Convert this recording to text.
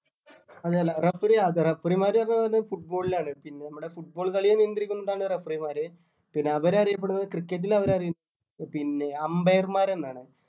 അല്ലല്ല referee അത് referee മാര് അത് അത് football ലാണ് പിന്നെ നമ്മടെ football കളിയെ നിയന്ത്രിക്കുന്നതാണ് referee മാര് പിന്നെ അവര് അറിയപ്പെടുന്നത് cricket ൽ അവര് അറിയ പിന്നെ umpire മാരെന്നാണ്